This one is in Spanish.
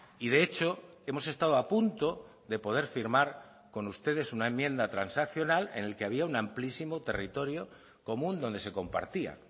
y de hecho hemos estado a punto de poder firmar con ustedes una enmienda transaccional en el que había un amplísimo territorio común donde se compartía